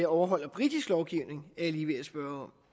overholder britisk lovgivning er jeg lige ved at spørge